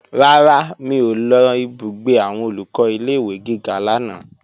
Rárá, mi ò lọ ìbúgbé àwọn Olùkọ́ ilé-ìwé gíga lánàá